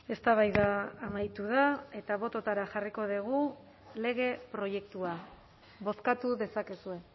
eztabaida amaitu da eta bototara jarriko dugu lege proiektua bozkatu dezakezue